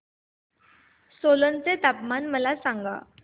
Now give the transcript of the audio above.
सोलन चे तापमान मला सांगा